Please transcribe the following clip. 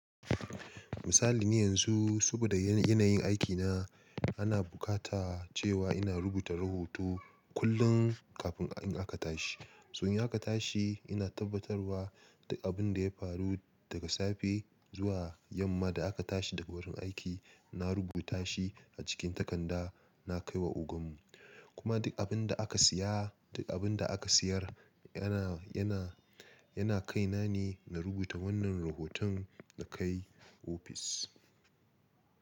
Misali ne yanzu saboda yanayin aikina ana bukata cewa ina rubuta rahoto kullum kafin in aka tashi. Soya aka tashi ina tabbatarwa duk abin da ya faru daga safe zuwa yamma da aka tashi daga wurin aiki na rubuta shi a cikin takarda na kai wa ogan mu. Kuma duk abin da aka siya duk abin da aka siyar yana, yana, yana kai na ne na rubuta wannan rahoton na kai ofis.